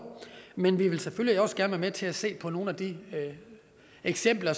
men vi vil selvfølgelig også gerne være med til at se på nogle af de eksempler